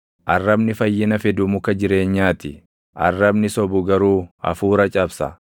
Arrabni fayyina fidu muka jireenyaa ti; arrabni sobu garuu hafuura cabsa.